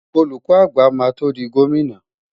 Olùkọ́ àgbà máa tó di gómìnà.